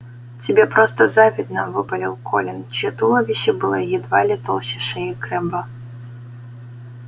тебе просто завидно выпалил колин чьё туловище было едва ли толще шеи крэбба